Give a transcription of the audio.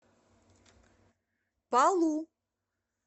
палу